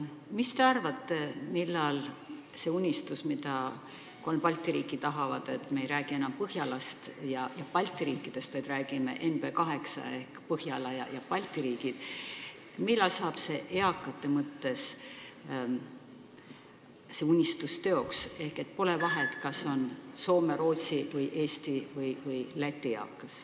Mis te arvate, millal saab eakate mõttes teoks see unistus, mida soovivad kolm Balti riiki, et me ei räägiks enam Põhjalast ja Balti riikidest, vaid räägiksime NB8-st ehk Põhjala ja Balti riikidest, nii et poleks vahet, kas jutt on Soome, Rootsi, Eesti või Läti eakast?